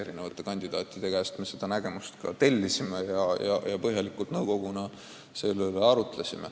Me tellisime selle nägemuse kandidaatide käest ja arutasime nõukogus neid põhjalikult.